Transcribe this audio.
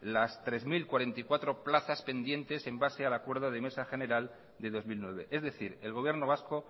las tres mil cuarenta y cuatro plazas pendientes en base al acuerdo de mesa general de dos mil nueve es decir el gobierno vasco